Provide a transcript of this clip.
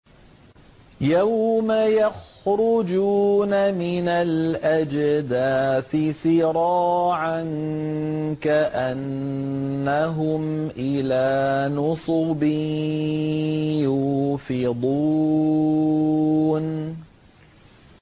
يَوْمَ يَخْرُجُونَ مِنَ الْأَجْدَاثِ سِرَاعًا كَأَنَّهُمْ إِلَىٰ نُصُبٍ يُوفِضُونَ